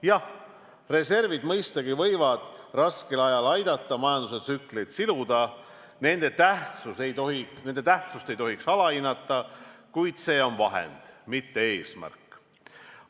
Jah, reservid võivad mõistagi raskel ajal aidata majandustsüklit siluda, nende tähtsust ei tohiks alahinnata, kuid see on vahend, mitte eesmärk.